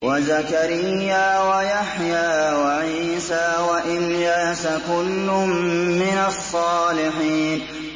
وَزَكَرِيَّا وَيَحْيَىٰ وَعِيسَىٰ وَإِلْيَاسَ ۖ كُلٌّ مِّنَ الصَّالِحِينَ